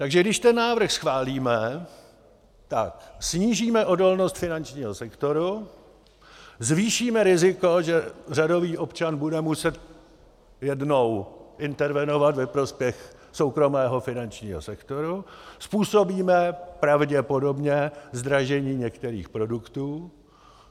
Takže když ten návrh schválíme, tak snížíme odolnost finančního sektoru, zvýšíme riziko, že řadový občan bude muset jednou intervenovat ve prospěch soukromého finančního sektoru, způsobíme pravděpodobně zdražení některých produktů.